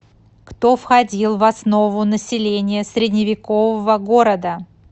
кто входил в основу населения средневекового города